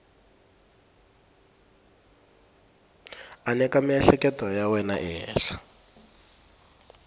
aneka miehleketo ya wena ehenhla